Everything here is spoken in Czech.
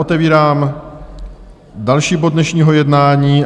Otevírám další bod dnešního jednání